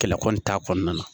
Kɛlɛ kɔni t'a kɔnɔna na